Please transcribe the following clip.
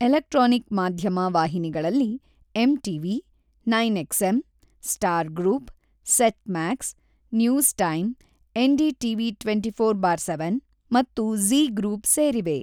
Electronic ಮಾಧ್ಯಮ ವಾಹಿನಿಗಳಲ್ಲಿ MTV, ಒಂಬತ್ತು XM., Star group, Set Max, News Time, NDTV twenty four seven ಮತ್ತು ಝೀ ಗ್ರೂಪ್ ಸೇರಿವೆ.